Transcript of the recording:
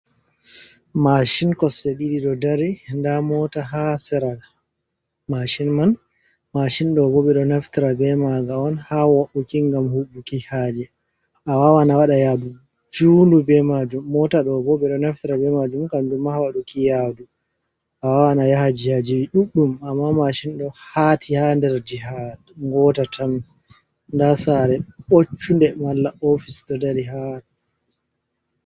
Mashin kosse ɗidi do dari da mota ha sera mashin man mashin do boɓe do naftara be maga on ha wauki gam hubuki haji a wawana wada yadu junu be majum mota do gobe do naftara be majum kamdu mahaduki yadu a wawana yaha jihajiwi duddum amma mashin do hati ha dar jiha ngota tan da sare boccunde malla ofis do dari hara,